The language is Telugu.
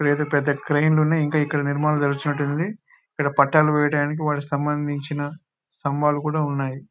ఇక్కడ అయితే పెద్ద క్రేన్లు ఉన్నాయి ఇంకా ఇక్కడ నిర్మాణం జరుగుతున్నట్టుంది ఇలా పట్టాలు వేయడానికి స్తంభాల దించినట్టున్నారు స్తంభాలు కూడా ఉన్నాయి